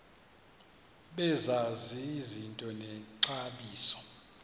bazazi izinto nexabiso